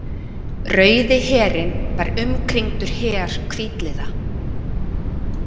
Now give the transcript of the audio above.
Rauði herinn var umkringdur her hvítliða.